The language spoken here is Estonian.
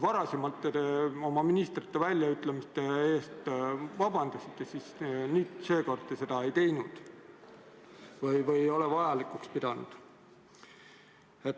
Varem te oma ministrite väljaütlemiste eest vabandasite, seekord te seda ei teinud, ehk ei ole vajalikuks pidanud.